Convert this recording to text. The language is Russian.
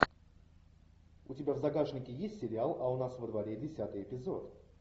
у тебя в загашнике есть сериал а у нас во дворе десятый эпизод